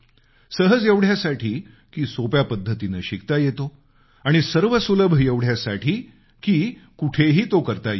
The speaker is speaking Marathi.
सहज एवढ्यासाठी की सोप्या पद्धतीनं शिकता येतो आणि सर्वसुलभ एवढ्यासाठी की कुठंही तो करता येतो